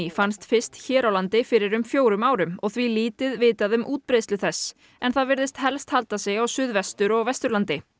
fannst fyrst hér á landi fyrir um fjórum árum og því lítið vitað um útbreiðslu þess en það virðist helst halda sig á Suðvestur og Vesturlandi